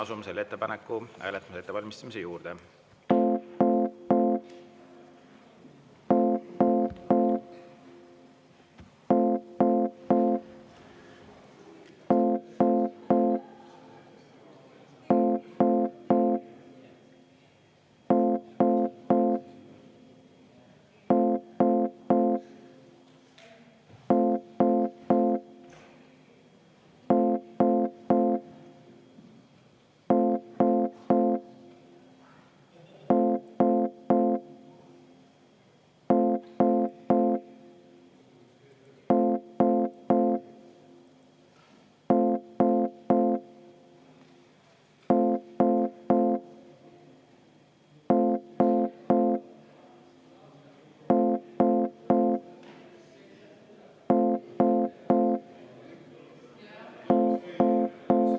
Asume selle ettepaneku hääletamise ettevalmistamise juurde.